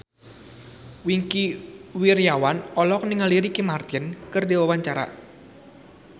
Wingky Wiryawan olohok ningali Ricky Martin keur diwawancara